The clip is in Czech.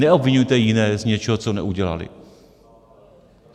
Neobviňujte jiné z něčeho, co neudělali.